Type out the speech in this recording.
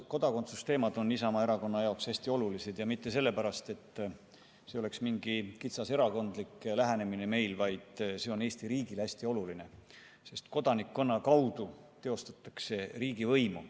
Kodakondsuse teemad on Isamaa Erakonna jaoks hästi olulised ja mitte sellepärast, et see oleks meil mingi kitsas erakondlik lähenemine, vaid see on Eesti riigile hästi oluline, sest kodanikkonna kaudu teostatakse riigivõimu.